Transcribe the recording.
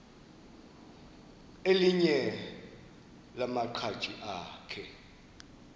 elinye lamaqhaji akhe